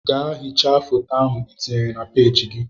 Gaa hichaa foto ahụ ị tinyere na peeji gị!